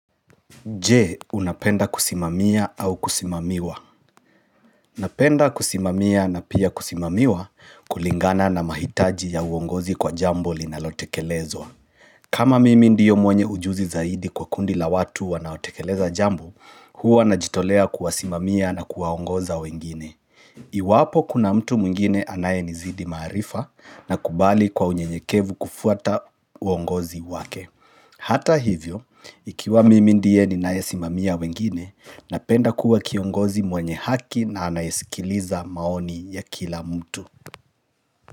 Je, unapenda kusimamia au kusimamiwa? Napenda kusimamia na pia kusimamiwa kulingana na mahitaji ya uongozi kwa jambo linalotekelezwa kama mimi ndiyo mwenye ujuzi zaidi kwa kundi la watu wanaotekeleza jambo Huwa najitolea kuwasimamia na kuwaongoza wengine Iwapo kuna mtu mwengine anayenizidi maarifa nakubali kwa unyenyekevu kufuata uongozi wake Hata hivyo, ikiwa mimi ndiye ninayesimamia wengine, napenda kuwa kiongozi mwenye haki na anayesikiliza maoni ya kila mtu.